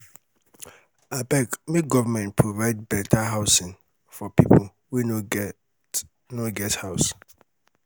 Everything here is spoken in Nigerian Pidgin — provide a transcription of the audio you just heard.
abeg make government provide better housing for people wey no get no get house.